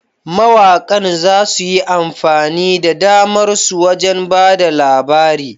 Mawaƙan za su yi amfani da damar su wajen ba da labari.